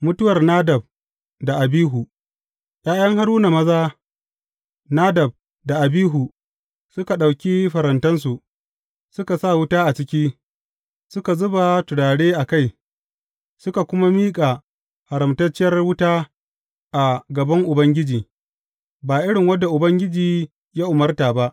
Mutuwar Nadab da Abihu ’Ya’yan Haruna maza, Nadab da Abihu suka ɗauki farantansu, suka sa wuta a ciki, suka zuba turare a kai; suka kuma miƙa haramtacciyar wuta a gaban Ubangiji, ba irin wadda Ubangiji ya umarta ba.